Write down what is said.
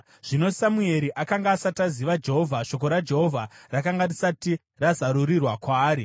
Zvino Samueri akanga asati aziva Jehovha. Shoko raJehovha rakanga risati razarurirwa kwaari.